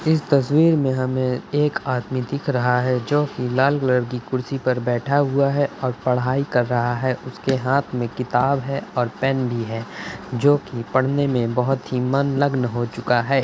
इस तस्वीर मे हमें एक आदमी दिख रहा है जोकि लाल कलर की कुर्सी पर बैठा हुआ है और पढ़ाई कर रहा है। उसके हाथ मे किताब है और पेन भी है जो कि पढ़ने मे बहुत ही मनलगन हो चुका है।